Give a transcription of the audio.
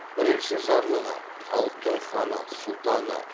бірінші жарлығы халықтың ханы сұлтаны